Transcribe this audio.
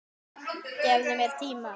Gefðu mér tíma.